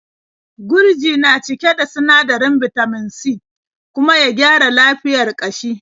Gurji na cike da sinadarin bitamin C kuma ya gyara lafiyar ƙashi.